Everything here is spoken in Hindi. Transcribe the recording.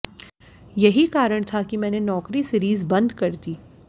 यही कारण था कि मैंने नौकरी सीरीज़ बंद कर दी